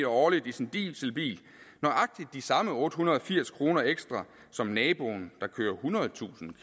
årligt i sin dieselbil nøjagtig de samme otte hundrede og firs kroner ekstra som naboen der kører ethundredetusind